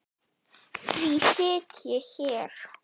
Því sit ég hér.